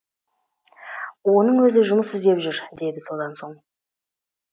оның өзі жұмыс іздеп жүр деді содан соң